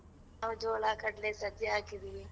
ನಾವ್ ಜೋಳ ಕಡ್ಲೆ ಸಜ್ಜೆ ಹಾಕಿದಿವಿ.